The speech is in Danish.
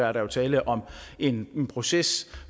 er der jo tale om en proces